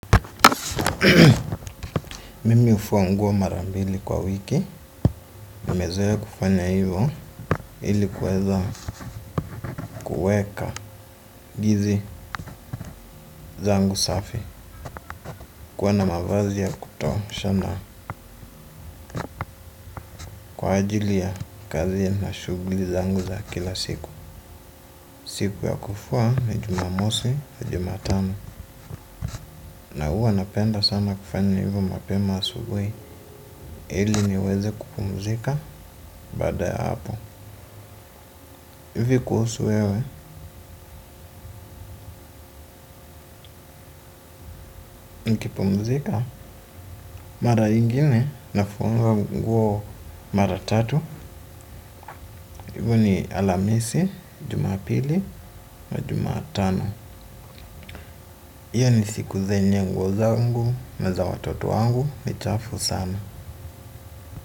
Mimi hufua nguo mara mbili kwa wiki. Nimezoea kufanya hivyo ili kuweza kuweka hizi zangu safi. Kuwa na mavazi ya kutosha na kwa ajili ya kazi na shughuli zangu za kila siku. Siku ya kufua ni Jumamosi na Jumatano Na huwa napenda sana kufanya hivyo mapema asubuhi ili niweze kupumzika baada ya hapo. Vipi kuhusu wewe? Kupumzika. Mara nyingine nafua nguo mara tatu, ni Alhamisi, Jumapili na Jumatano. Hizo ni siku yenye nguo zangu na za watoto wangu ni chafu sana.